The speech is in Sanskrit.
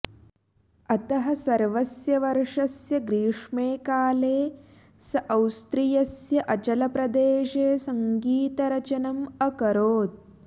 अतः सर्वस्य वर्षस्य ग्रीष्मे काले स औस्त्रियस्य अचलप्रदेशे सङ्गीतरचनम् अकरोत्